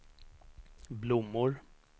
blommor